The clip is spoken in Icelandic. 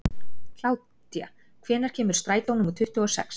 Kládía, hvenær kemur strætó númer tuttugu og sex?